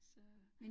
Så